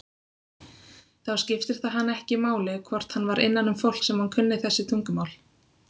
Þá skipti það hann ekki máli hvort hann var innanum fólk sem kunni þessi tungumál.